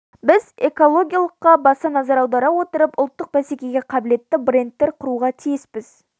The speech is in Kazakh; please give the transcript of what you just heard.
біз экологиялылыққа баса назар аудара отырып ұлттық бәсекеге қабілетті брендтер құруға тиіспіз